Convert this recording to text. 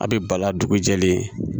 A bɛ bala dugu jɛlen